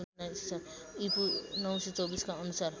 ईपू ९२४ का अनुसार